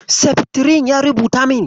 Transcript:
Seftirin ya rubuta min.